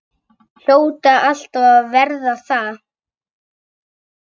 Hljóta alltaf að verða það.